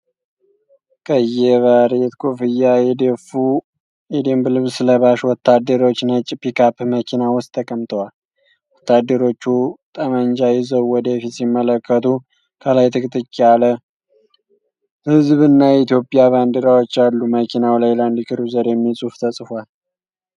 ቀይ የባሬት ኮፍያ የደፉ የደንብ ልብስ ለባሽ ወታደሮች ነጭ ፒክአፕ መኪና ውስጥ ተቀምጠዋል። ወታደሮቹ ጠመንጃ ይዘው ወደ ፊት ሲመለከቱ፣ ከኋላ ጥቅጥቅ ያለ ህዝብ እና የኢትዮጵያ ባንዲራዎች አሉ። መኪናው ላይ 'Land Cruiser' የሚል ጽሑፍ ተጽፏል።